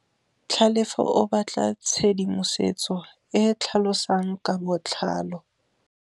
Tlhalefô o batla tshedimosetsô e e tlhalosang ka botlalô.